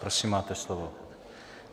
Prosím, máte slovo.